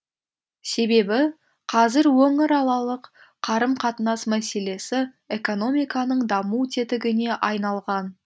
себебі қазір өңіралалық қарым қатынас мәселесі экономиканың даму тетігіне айналған